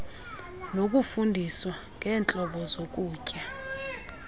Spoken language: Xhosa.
nokufundiswa ngeentlobo zokutya